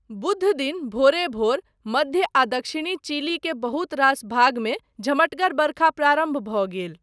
बुधदिन, भोरे भोर मध्य आ दक्षिणी चिली के बहुत रास भागमे झमटगर बरखा प्रारम्भ भऽ गेल।